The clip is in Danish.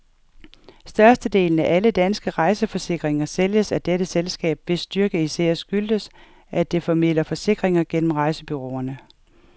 Størstedelen af alle danske rejseforsikringer sælges af dette selskab, hvis styrke især skyldes, at det formidler forsikringer gennem rejsebureauerne.